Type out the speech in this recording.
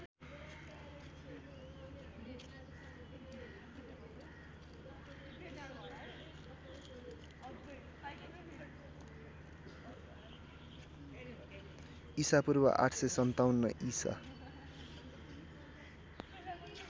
ईपू ८५७ ईसा